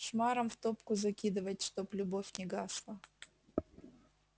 шмарам в топку закидывать чтоб любовь не гасла